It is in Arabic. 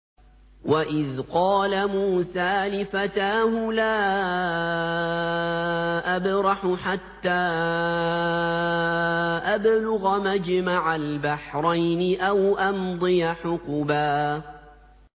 وَإِذْ قَالَ مُوسَىٰ لِفَتَاهُ لَا أَبْرَحُ حَتَّىٰ أَبْلُغَ مَجْمَعَ الْبَحْرَيْنِ أَوْ أَمْضِيَ حُقُبًا